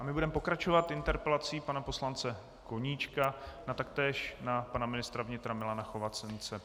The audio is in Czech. A my budeme pokračovat interpelací pana poslance Koníčka taktéž na pana ministra vnitra Milana Chovance.